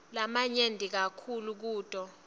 lamanyenti kakhulu kuto